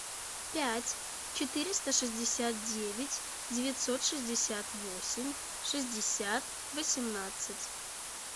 пять четыреста шестьдесят девять девятьсот шестьдесят восемь шестьдесят восемнадцать